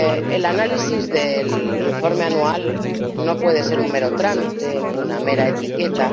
El análisis del Informe anual no puede ser un mero trámite, ni una mera etiqueta.